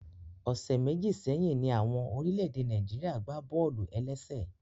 Ọsẹ méjì sẹyìn ní àwọn orílẹ̀-èdè Nàìjíríà gbá bọ́ọ̀lù-ẹlẹ́sě